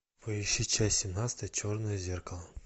поищи часть семнадцатая черное зеркало